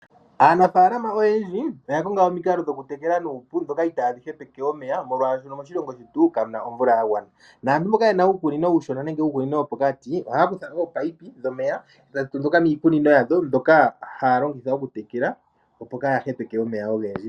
Aanafalama oyendji oya konga omikalo dhokutela ndhoka itadhi hepeke omeya molwashoka moshilongo shetu kamuna omvula ya gwana. Aantu mboka yena uukunino uushona wopokati ohaya kutha ominino dhomeya ndhoka ya taakamitha miikunino yawo taya longitha okutekela, opo kaya hepeke omeya ogendji.